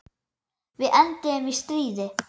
Við enduðum í stríði.